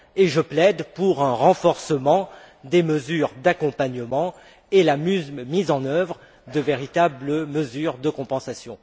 Je plaide pour un renforcement des mesures d'accompagnement et pour la mise en œuvre de véritables mesures de compensation.